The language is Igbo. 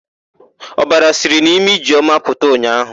Ọbara siri n'imi Ijeọma pụta ụnyaahụ.